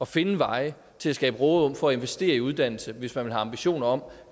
finde veje til at skabe råderum for at investere i uddannelse hvis man vil have ambitioner om